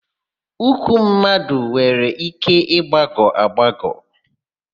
Ụkwụ mmadụ nwere ike ịgbagọ agbagọ.